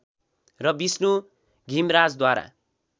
र विष्णु घिमराजद्वारा